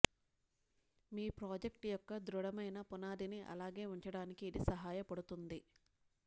మీ project యొక్క ధృడమైన పునాదిని అలాగే ఉంచడానికి ఇది సహాయపడుతుంది